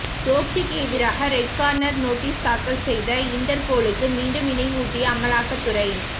சோக்சிக்கு எதிராக red corner notice தாக்கல் செய்ய இன்டர்போலுக்கு மீண்டும் நினைவூட்டிய அமலாக்க துறை